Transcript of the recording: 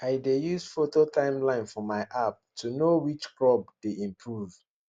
i dey use photo timeline for my app to know which crop health dey improve